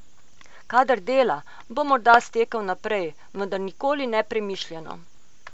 Kadar dela, bo morda stekel naprej, vendar nikoli nepremišljeno.